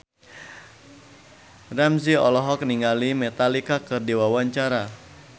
Ramzy olohok ningali Metallica keur diwawancara